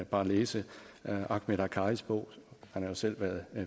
bare læse ahmed akkaris bog han har jo selv været